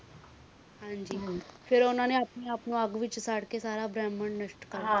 ਹਨ ਜੀ ਫਿਰ ਉਨ੍ਹਾਂ ਨੇ ਆਪਣੇ ਆਪ ਨੂੰ ਅੱਗ ਵਿਚ ਸੁੱਟ ਕ ਸਾਰਾ ਭਰਮ ਨਸ਼ਟ ਕਰ ਛੱਢਿਆਂ ਸੀ